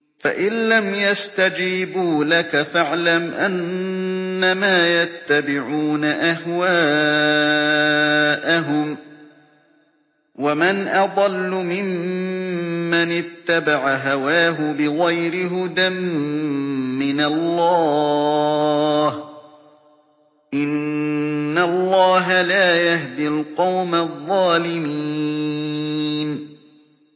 فَإِن لَّمْ يَسْتَجِيبُوا لَكَ فَاعْلَمْ أَنَّمَا يَتَّبِعُونَ أَهْوَاءَهُمْ ۚ وَمَنْ أَضَلُّ مِمَّنِ اتَّبَعَ هَوَاهُ بِغَيْرِ هُدًى مِّنَ اللَّهِ ۚ إِنَّ اللَّهَ لَا يَهْدِي الْقَوْمَ الظَّالِمِينَ